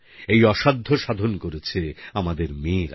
এই অসাধ্য সাধন করেছে আমাদের মেয়েরা